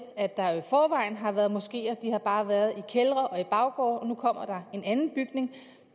at der jo i forvejen har været moskeer de har bare været i kældre og i baggårde og nu kommer en anden bygning